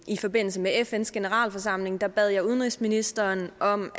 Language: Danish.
i forbindelse med fns generalforsamling bad jeg udenrigsministeren om